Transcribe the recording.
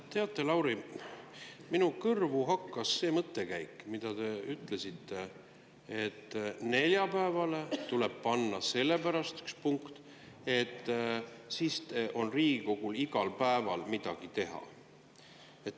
Teate, Lauri, minu kõrvu hakkas see mõttekäik, mida te ütlesite, et neljapäevale tuleb panna üks punkt sellepärast, et siis on Riigikogul igal päeval midagi teha.